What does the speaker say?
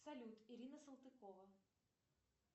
салют ирина салтыкова